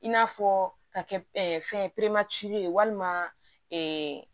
I n'a fɔ ka kɛ fɛn peremansi ye walima